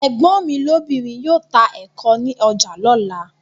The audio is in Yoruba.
Ẹ̀gbọ́n mi lóbìnrin yóò ta ẹ̀ko ní ọjà lọ́la.